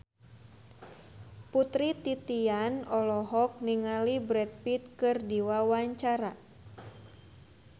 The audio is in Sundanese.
Putri Titian olohok ningali Brad Pitt keur diwawancara